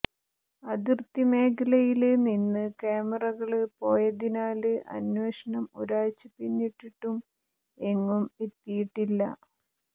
അതിര്ത്തി മേഖലയില് നിന്ന് കാമറകള് പോയതിനാല് അന്വേഷണം ഒരാഴ്ച പിന്നിട്ടിട്ടും എങ്ങും എത്തിയിട്ടില്ല